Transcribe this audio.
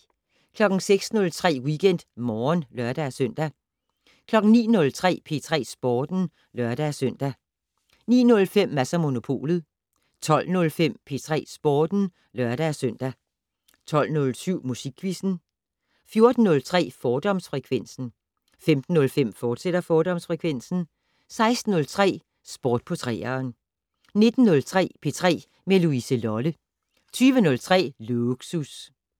06:03: WeekendMorgen (lør-søn) 09:03: P3 Sporten (lør-søn) 09:05: Mads & Monopolet 12:05: P3 Sporten (lør-søn) 12:07: Musikquizzen 14:03: Fordomsfrekvensen 15:05: Fordomsfrekvensen, fortsat 16:03: Sport på 3'eren 19:03: P3 med Louise Lolle 20:03: Lågsus